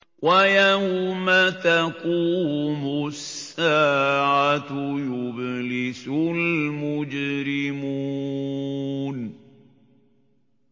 وَيَوْمَ تَقُومُ السَّاعَةُ يُبْلِسُ الْمُجْرِمُونَ